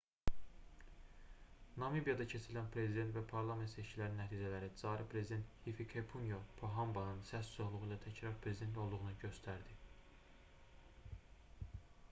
namibiyada keçirilən prezident və parlament seçkilərinin nəticələri cari prezident hifikepunye pohambanın səs çoxluğu ilə təkrar prezident olduğunu göstərdi